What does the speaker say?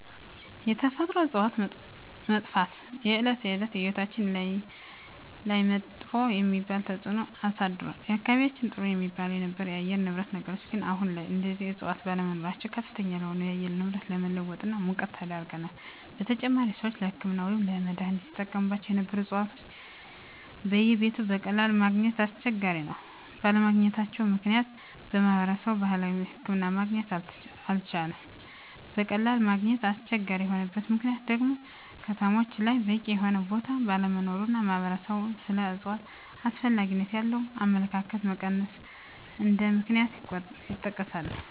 የተፈጥሮ እፅዋት መጥፍት የእለት እለት ህይወታችን ላይመጥፎ የሚባል ተፅእኖ አሳድሮል በአካባቢየችን ጥሩ የሚባል የነበረው የአየር ንብረት ነገር ግን አሁን ላይ እነዚህ እፅዋት ባለመኖራቸው ከፍተኛ ለሆነ የአየር ንብረት መለወጥ እና ሙቀት ተዳርገናል : በተጨማሪም ሰወች ለህክምና ወይም ለመድሐኒትነት ሲጠቀሞቸው ነበሩ እፅዋቶች በየቤቱ በቀላሉ ማገኘት አስቸጋሪ ነው ባለመገኘታቸው ምክንያት ማህበረሰብ የባህላዊ ሕክምና ማግኘት አልቻለም በቀላሉ ማግኘት አስቸጋሪ የሆነበት ምክንያት ደግሞ ከተሞች ላይ በቂ የሆነ ቦታ ባለመኖሩ እና ማህበረሰብ ስለ እፅዋት አስፈላጊነት ያለው አመለካከት መቀነስ እንደ ምክንያት ይጠቀሳሉ።